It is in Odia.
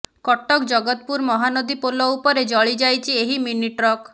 କଟକ ଜଗତପୁର ମହାନଦୀ ପୋଲ ଉପରେ ଜଳିଯାଇଛି ଏହି ମିନି ଟ୍ରକ